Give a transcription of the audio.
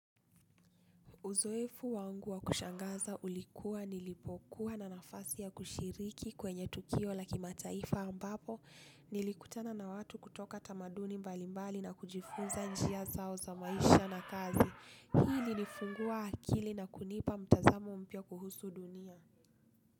Uzoefu wangu wa kushangaza ulikuwa nilipokuwa na nafasi ya kushiriki kwenye tukio laki mataifa ambapo nilikutana na watu kutoka tamaduni mbalimbali na kujifunza njia zao za maisha na kazi. Hii ilinifungua akili na kunipa mtazamo mpya kuhusu dunia.